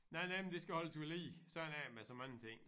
Nej nej men det skal holdes ved lige sådan er det med så mange ting